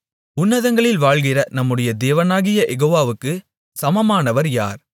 உன்னதங்களில் வாழ்கிற நம்முடைய தேவனாகிய யெகோவாவுக்குச் சமமானமானவர் யார்